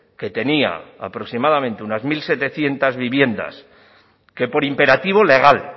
que tenía aproximadamente unas mil setecientos viviendas que por imperativo legal